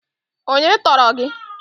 Onye tọọrọ gi?